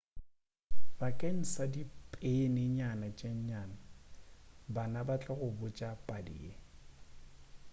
bakeng sa dipeni nyana tše nnyane bana ba tla go botša padi ye